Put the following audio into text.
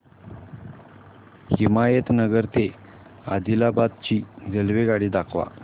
हिमायतनगर ते आदिलाबाद ची रेल्वेगाडी दाखवा